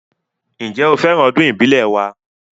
Ǹjẹ́, ó fẹ́ràn ọdún ìbílẹ̀ wa